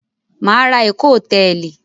Mà á ra Eko Hòtẹ́ẹ́lì.